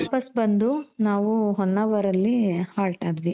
ವಾಪಾಸ್ ಬಂದು ನಾವು ಹೊನ್ನಾವರ್ ಅಲ್ಲಿ halt ಆದ್ವಿ.